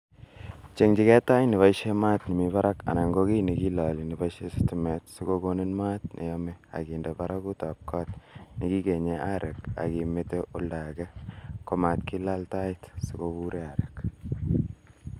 chenjige tait nebisien Maat nemi barak anan ko kiy ne kiloole ne boisien sitimet si kogonin maat ne yome ak inde baragutab koot ne kigenyen areek ak imete oldo age komat kilaal tait,, si koburen areek